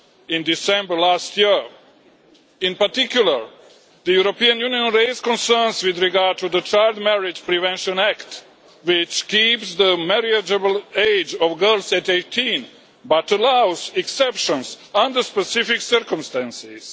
In December last year in particular, the European Union raised concerns with regard to the Child Marriage Prevention Act, which keeps the marriageable age of girls at 18 but allows exceptions under specific circumstances.